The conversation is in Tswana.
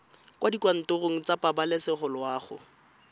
kwa dikantorong tsa pabalesego loago